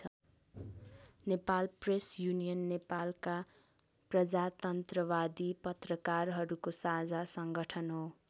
Nepal press union नेपालका प्रजातन्त्रवादी पत्रकारहरूको साझा सङ्गठन हो।